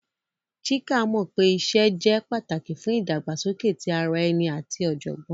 Chika mọ iṣẹ lile jẹ pataki fun idagbasoke ti ara ẹni ati ọjọgbọn.